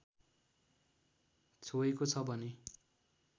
छोएको छ भने